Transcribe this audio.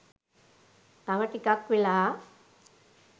තව ටිකක් වෙලා.